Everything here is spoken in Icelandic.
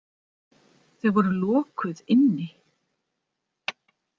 Þau voru lokuð inni.